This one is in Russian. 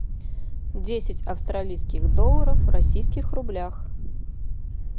десять австралийских долларов в российских рублях